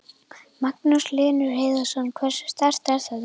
Magnús Hlynur Hreiðarsson: Hversu sterkt er þetta?